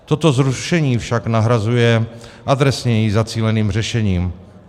Toto zrušení však nahrazuje adresněji zacíleným řešením.